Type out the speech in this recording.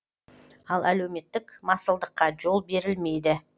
ал әлеуметтік масылдыққа жол берілмейді